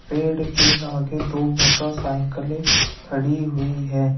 पेड़ के आगे दो मोटरसाइकिले खड़ी हुई है।